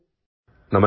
audio